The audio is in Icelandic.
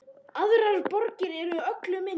Aðrar borgir eru öllu minni.